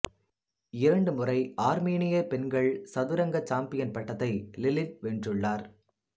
இரண்டுமுறை ஆர்மீனிய பெண்கள் சதுரங்க சாம்பியன் பட்டத்தை லிலிட் வென்றுள்ளார்